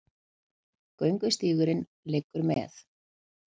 Göngustígurinn liggur með